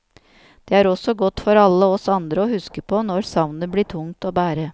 Det er også godt for alle oss andre å huske på når savnet blir tungt å bære.